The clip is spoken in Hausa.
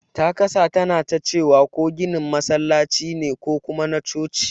Ta kasa tanatacewa ko ginin masallaci ne ko kuma na coci.